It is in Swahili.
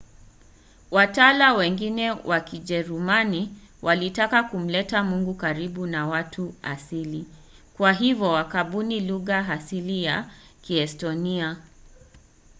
watawa wengine wa kijerumani walitaka kumleta mungu karibu na watu asili kwa hivyo wakabuni lugha halisi ya kiestonia